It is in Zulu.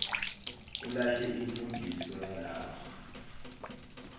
ulahle imfundiso yalapha